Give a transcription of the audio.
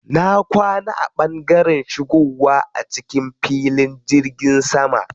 Na kwana a ɓangaren shigowa a cikin filin jirgin sama.